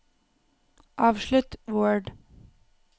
avslutt Word